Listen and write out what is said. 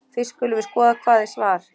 Fyrst skulum við skoða hvað er svar.